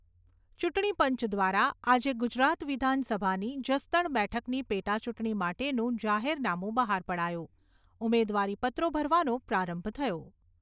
ચૂંટણીપંચ દ્વારા આજે ગુજરાત વિધાનસભાની જસદણ બેઠકની પેટાચૂંટણી માટેનું જાહેરનામુ બહાર પડાયું. ઉમેદવારીપત્રો ભરવાનો પ્રારંભ થયો.